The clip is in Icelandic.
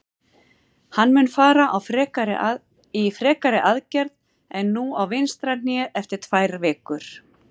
Hann mun fara í frekari aðgerð en nú á vinstra hné eftir tvær vikur.